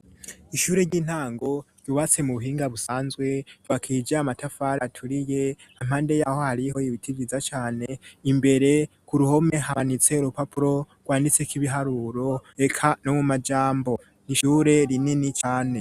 Ishure ry'intango ry' ububatse mu buhinga busanzwe vakiye ijae amatafari aturiye ampande y'aho hariho yibiti viza cane imbere ku ruhome habanitse rupapuro rwanditse k'ibiharuro eka no mu majambo ishure rinini cane.